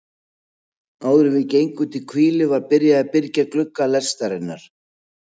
Áðuren við gengum til hvílu var byrjað að byrgja glugga lestarinnar.